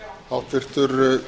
forseti við höfum